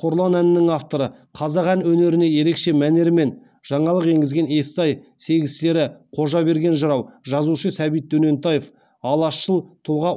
қорлан әнінің авторы қазақ ән өнеріне ерекше мәнермен жаңалық енгізген естай сегіз сері қожаберген жырау жазушы сәбит дөнентаев алашшыл тұлға